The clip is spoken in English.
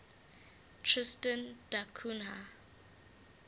tristan da cunha